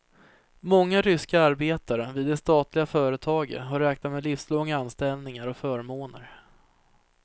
Många ryska arbetare vid de statliga företaget har räknat med livslånga anställningar och förmåner.